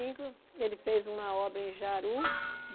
Cinco ele fez uma obra em Jaru.